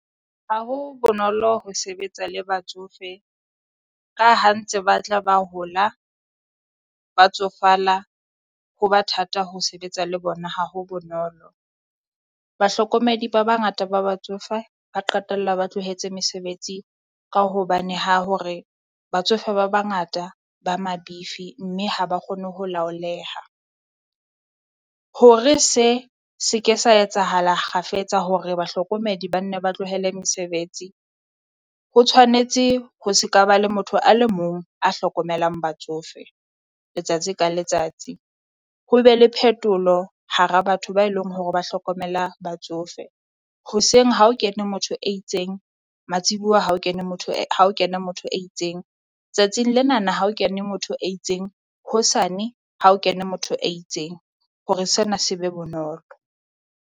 Ha ho bonolo ho sebetsa le batsofe ka ha ntse ba tla ba hola ba tsofala ho ba thata ho sebetsa le bona, ha ho bonolo. Bahlokomedi ba bangata ba batsofe ba qetella ba tlohetse mesebetsi ka hobane ha hore batsofe ba bangata ba mabifi, mme ha ba kgone ho laoleha. Hore se se ke sa etsahala kgafetsa hore bahlokomedi banne ba tlohele mesebetsi. Ho tshwanetse ho se ka ba le motho a le mong a hlokomelang batsofe letsatsi ka letsatsi, ho be le phetolo hara batho ba eleng hore ba hlokomela batsofe. Hoseng ha o kene motho e itseng, matsibua ha o kene motho ha o kene motho e itseng, tsatsing lenana ha o kene motho e itseng hosane ha o kene motho e itseng hore sena se be bonolo.